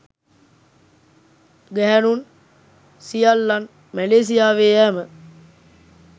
ගැහැණුන් සියල්ලන් මැලේසියාවේ යෑම